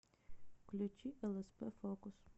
включи лсп фокус